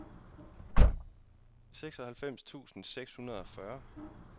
seksoghalvfems tusind seks hundrede og fyrre